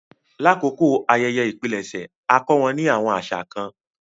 Làkókó ayẹyẹ ìpilẹ̀ṣẹ̀, a kọ wọn ni awọn aṣa kan.